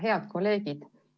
Head kolleegid!